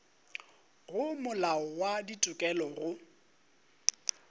go molao wa ditokelo go